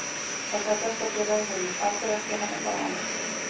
Þetta er besta félag í heimi, af hverju ætti hann að fara annað?